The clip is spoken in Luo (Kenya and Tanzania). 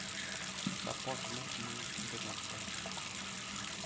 Suport ma tiyo e kinde mag pek